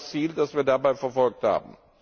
Das war das Ziel, das wir dabei verfolgt haben.